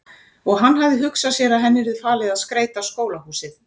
Og hann hafði hugsað sér að henni yrði falið að skreyta skólahúsið.